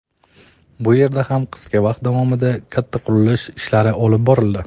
Bu yerda ham qisqa vaqt davomida katta qurilish ishlari olib borildi.